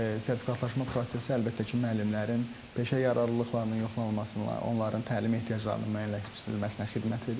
Sertifikatlaşma prosesi əlbəttə ki, müəllimlərin peşə yararlılıqlarının yoxlanılmasına, onların təlim ehtiyaclarının müəyyənləşdirilməsinə xidmət edir.